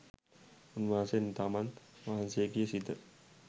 උන්වහන්සේ තමන් වහන්සේගේ සිත